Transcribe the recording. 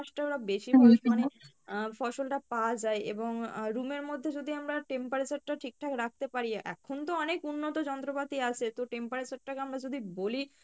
ওরা বেশি করে, আহ ফসল টা পাওয়া যায় এবং আহ room এর মধ্যে যদি আমরা temperature টা ঠিক ঠাক রাখতে পারি এখন তো অনেক উন্নত যন্ত্রপাতি আছে তো temperature টাকে আমরা যদি বলি